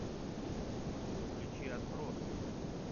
включи отбросы